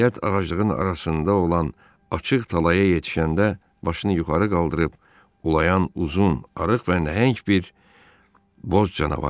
Nəhayət, ağaclığın arasında olan açıq talaya yetişəndə başını yuxarı qaldırıb ulayan uzun, arıq və nəhəng bir boz canavar gördü.